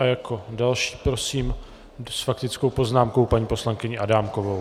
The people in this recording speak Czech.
A jako další prosím s faktickou poznámkou paní poslankyni Adámkovou.